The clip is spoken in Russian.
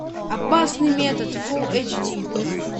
опасный метод фулл эйч ди